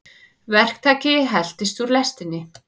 Verktaki heltist úr lestinni